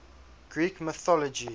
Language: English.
greek mythology